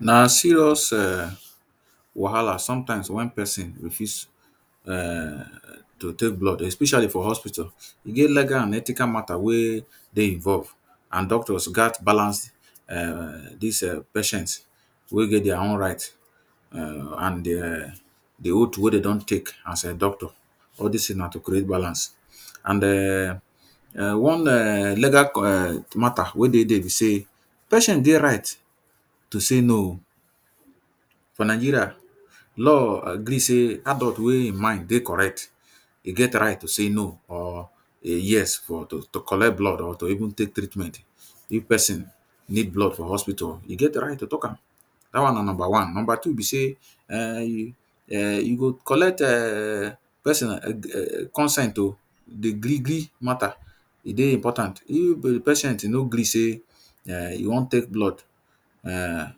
Na serious wahala um sometimes when pesin refuse um to take blood especially for hospital. E get legal and ethical matter wey dey involve and doctors gat balance um dis um patient wey get their own right um and de um the oath wey they don take as a doctor. All des things na to create balance. And de um one um legal um matter wey dey dere be sey, patient get right to say no oh. For Nigeria, law gree sey adult wey e mind dey correct, e get right to say no or yes for to to collect blood or to even take treatment. If pesin need blood for hospital, e get right to talk am. Dat one na number one. Number two be sey um you go collect um pesin um consent o dey gree matter, e dey important. If the patient no gree sey um e wan take blood um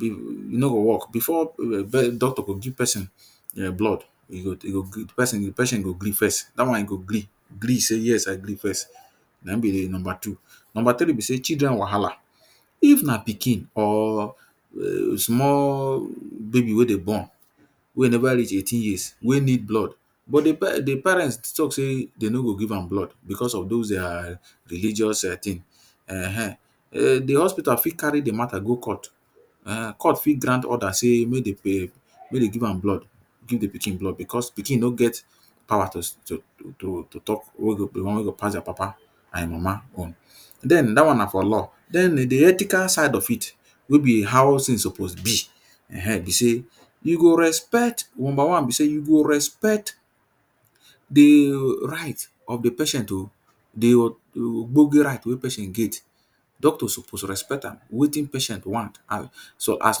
e no go work before um doctor go give pesin um blood, e go e go pesin go gree first. Dat one e go gree gree sey yes i gree first. Na im be the number two. Number three be sey children wahala. If na pikin or um small baby wey dem born. Wey neva reach eighteen years, wey need blood. But the parents talk sey they no go give am blood because of dos their um religeous thing um. The hospital fit carry the matter go court. um Court fit grant order sey make they um make they give am blood. Give the pikin blood because pikin no get power to to to talk wey go the one wey go pass their papa and e mama own. Den, dat one na for law. Den the ethical side of it wey be how things suppose be um be sey, you go respect, number one be sey, you go respect the right of the patient oh. The ogbonge right wey patient get, doctor suppose respect am. Wetin patient want. So, as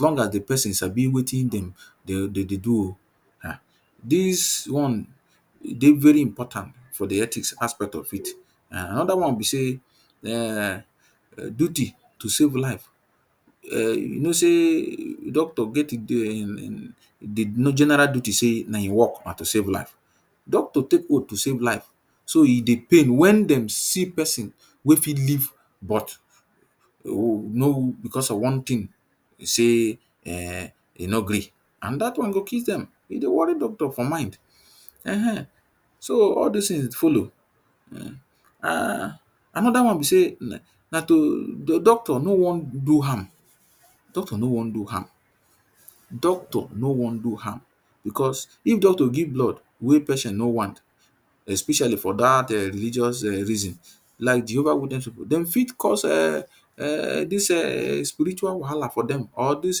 long as the patient sabi wetin dem de de dey do oh. um Dis one dey very important for the ethics aspect of it. And another one be sey um duty to save life um you know sey doctor get the the general duty sey na im work na to save life. Doctor take oath to save life. So, e dey pain when dem see person wey fit live but because of one thing say um e no gree and dat one go kill dem. E dey worry doctor for mind. um So, all des things follow. um Another one be sey na na doctor no wan do harm. Doctor no wan do harm. Doctor no wan do harm because if doctor give blood wey patient no want especially for dat um religious um reason. Like Jehovah witness pipu. De fit cause um dis um spiritual wahala for dem or dis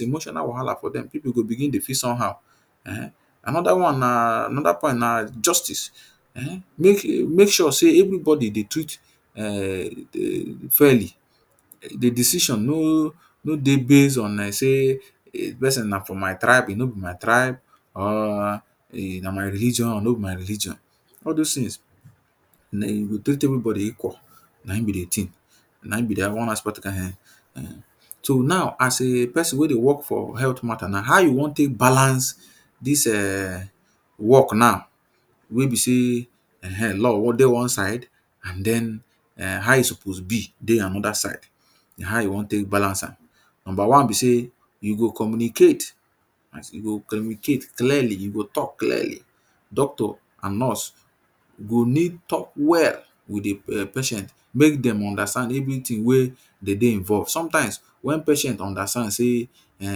emotional wahala for dem. Pipu go begin dey feel somehow um. Another one na another part na justice um. Make e make sure sey everybody dey treat um farely. The decision no no dey base on like sey um pesin na from my tribe, no be my tribe um or e na my religion, no be my religion. All dos things you go treat everybody equal. Na im be the thing. Na im be their own aspect um. So, now as a pesin wey dey work for health matter now, how you wan take balance dis um work now? Wey be sey um law dey one side and den how you suppose be dey another side. Na how you wan take balance am? Number one be sey, you go communicate. As in you go communicate clearly, you go talk clearly. Doctor and nurse go need talk well with the patient, make dem understand everything wey dey dey involve. Sometimes when patient understand sey um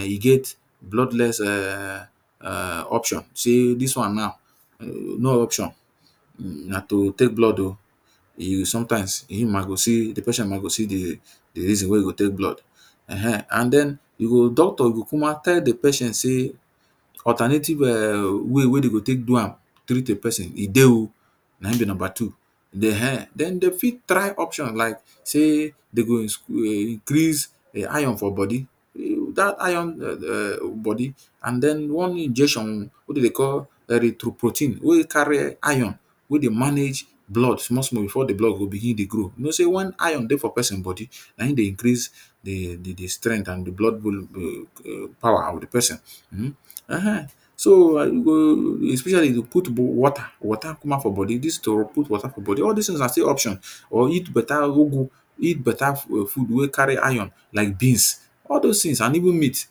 e get bloodless um option. Sey dis one now um no option, na to take blood oh. E sometimes im ma go see the patient ma go see the reason wey e go take blood. um And den e go doctor go cuma tell the patient sey alternative um way wey de go take do am treat a pesin, e dey oh. Na im be number two. Den um the fit try option like sey dey go um increase the iron for body. Dat iron um body and den one injection wey de dey call erythropoietin wey carry iron wey dey manage blood small small before the blood go begin dey grow. You know sey when iron dey for pesin body, na im dey increase the the strength and di blood volume power of the pesin. um So, um the specialist go put water water kukuma for body. Dis put water for body. All des things na still option or eat better ugu, eat better food wey carry iron like beans. All dos things and even meat,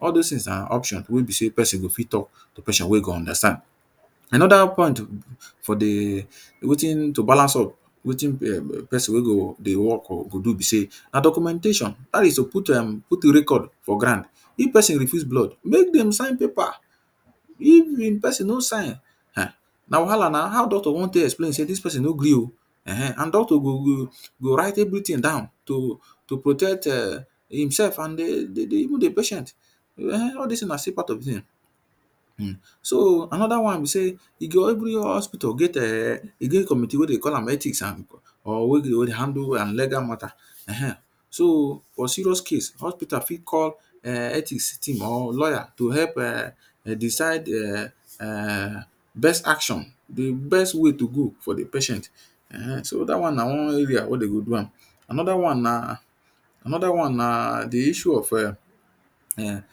all dos things na option wey be sey pesin go fit talk to patient wey e go understand. Another point for the wetin to balance up, wetin um pesin wey go dey work go do be sey na documentation. Dat is to put um put record for ground. If pesin refuse blood, make dem sign paper. If the pesin no sign um na wahala. Na how doctor wan take explain sey dis pesin no gree oh. um And doctor go go go write everything down to to protect um imself and the the even the patient. um All des na stll part of the thing. um So, another one be sey, e go every hospital get um e get committee wey they call am ethics and or wey dey handle legal matter. um So, for serious case, hospital fit call ethics team or lawyer to help um decide um best action. The best way to go for the patient um. So, dat one na one area wey de go do am. Another one na another one na the issue of um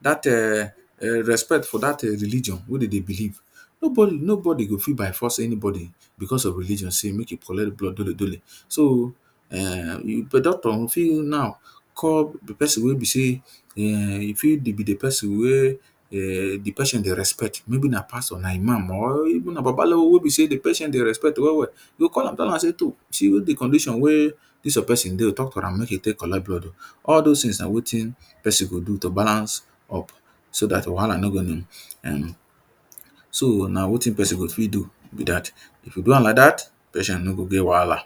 dat um respect for dat um religion wey de dey believe. Nobody nobody go fit go fit by force anybody because of religion sey make e collect blood. So, um doctor fit now call pesin wey be sey e fit be the pesin wey um the patient dey respect. Maybe na pastor, na Imam or even na babalawo wey be sey the patient dey respect well well. You go call am, tell am sey, see the condition wey dis your pesin dey oh. Talk to am, make e take collect blood. All dos things na wetin person go do to balance up so dat wahala no um. So, na wetin pesin go fit do be dat. If you do am like dat, patient no go get wahala.